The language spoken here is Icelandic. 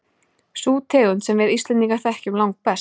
Sú tegund sem við Íslendingar þekkjum langbest.